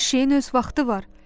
Hər şeyin öz vaxtı var.